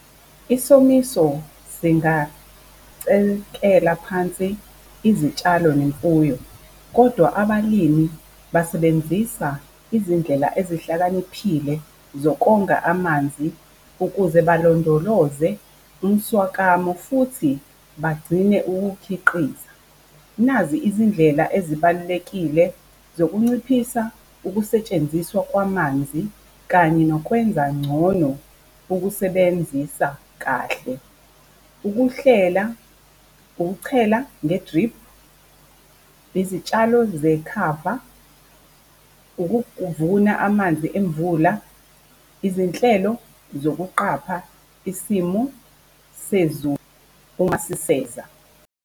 Isomiso singacekela phansi izitshalo nemfuyo, kodwa abalimi basebenzisa izindlela ezihlakaniphile zokonga amanzi ukuze balondoloze umswakamo futhi bagcine ukukhiqiza. Nazi izindlela ezibalulekile zokunciphisa ukusetshenziswa kwamanzi kanye nokwenza ngcono ukusebenzisa kahle. Ukuhlela, ukuchela nge-drip, izitshalo zekhava, ukuvuna amanzi emvula. Izinhlelo zokuqasha isimo sezulu uma siseza.